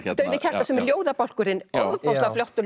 sem er ljóðabálkurinn ofboðslega flottur